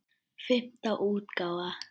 Fimmta útgáfa.